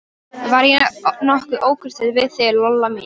Var ég nokkuð ókurteis við þig, Lolla mín?